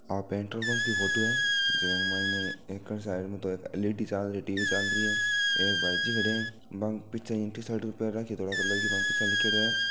आ petrol pump की photo है जका के मायने एकानी साइड में तो एक एलईडी चाल रही है टीवी चाल रही है एक भाईजी खड्या है बांके पीछे टीशर्ट पहर राखी है धोला कलर की बांके पिछानी लिख्योड़ो है।